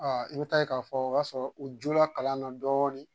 i bɛ taa ye k'a fɔ o y'a sɔrɔ u jo la kalan na dɔɔnin